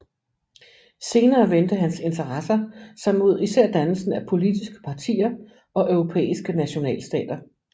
Senere vendte hans interesser sig mod især dannelsen af politiske partier og europæiske nationalstater